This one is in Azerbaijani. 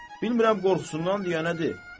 Bilmirəm qorxusundandır ya nədir.